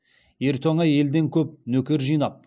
ер тоңа елден көп нөкер жинап